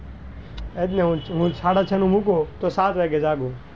એટલે હું સાડાછ નું મુકું તો સાત વાગે જાગું.